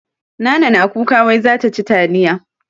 Nana na kuka wai za ta ci taliya.